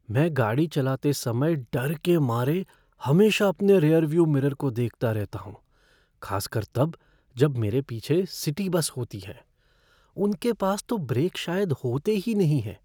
मैं गाड़ी चलाते समय डर के मारे हमेशा अपने रियर व्यू मिरर को देखता रहता हूँ, खासकर तब जब मेरे पीछे सिटी बस होती हैं। उनके पास तो ब्रेक शायद होते ही नहीं हैं।